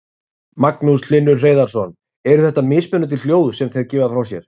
Magnús Hlynur Hreiðarsson: Eru þetta mismunandi hljóð sem þeir gefa frá sér?